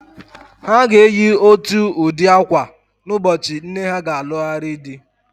Ha ga-eyi ótù ụdị ákwà n'ụbọchị nne ha ga-alụgharị di.